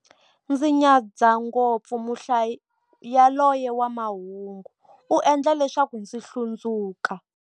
Ndzi nyadza ngopfu muhlayi yaloye wa mahungu, u endla leswaku ndzi hlundzuka.